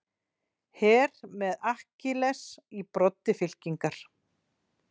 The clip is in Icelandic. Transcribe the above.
Her með Akkiles í broddi fylkingar.